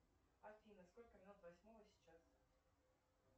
афина сколько минут восьмого сейчас